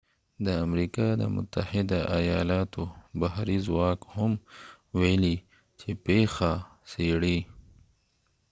د امریکا د متحده آیالاتو بحري ځواک هم ویلي چې پیښه څیړي